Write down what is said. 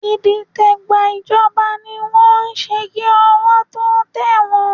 Ìdìtẹ̀gbàjọba ni wọ́n ń ṣe kí ọwọ́ tó tẹ̀ wọ́n